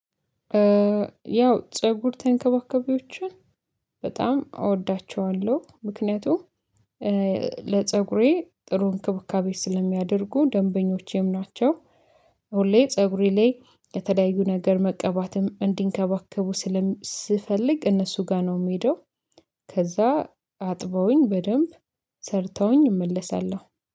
ያው ፀጉር ተንከባከቢዎችን በጣም እወዳቸዋለሁ። ምክንያቱም ለፀጉሬ ጥሩ እንክቡካቤ ስለሚያደርጉ ደንበኞቼም ናቸው። ሁሌ ፀጉሬ ላይ የተለያዩ ነገር መቀባትም እንዲንከባከቡ ስለ ሰፈልግ እነሱ ጋር ነው የምሄደው። ከዛ አጥበውኝ በደንብ ሰርተውኝ እመለሳለሁ።